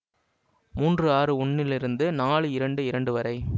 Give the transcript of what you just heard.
மூன்று ஆறு ஒன்றிலிருந்து நாலு இரண்டு இரண்டு வரை